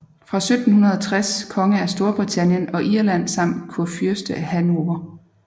Fra 1760 konge af Storbritannien og Irland samt kurfyrste af Hannover